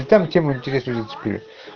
тем интереснее